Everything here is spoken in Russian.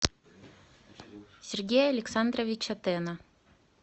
сергея александровича тена